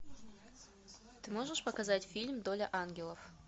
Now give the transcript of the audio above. ты можешь показать фильм доля ангелов